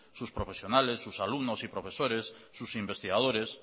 sus profesionales sus alumnos y profesores sus investigadores